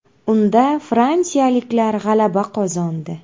Unda fransiyaliklar g‘alaba qozondi.